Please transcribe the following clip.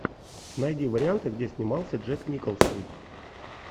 найди варианты где снимался джек николсон